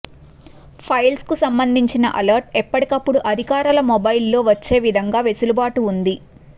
files కు సంబంధించిన alert ఎప్పటికప్పుడు అధికారుల మొబైల్లో వచ్చే విధంగా వెసులుబాటు ఉంది